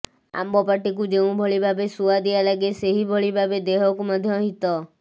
ଆମ୍ବ ପାଟିକୁ ଯେଉଁଭଳି ସୁଆଦିଆ ସେହିଭଳି ଭାବେ ଦେହକୁ ମଧ୍ୟ ହିତ